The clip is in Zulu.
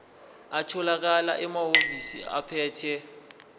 atholakala emahhovisi abaphethe